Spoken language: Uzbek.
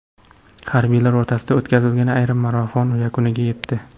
Harbiylar o‘rtasida o‘tkazilgan yarim marafon yakuniga yetdi.